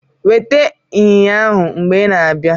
weta inyinya ahu mgbe i na-abịa